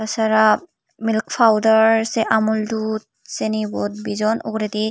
sara milk powder se amul dud seyani bot bijon ugurendi.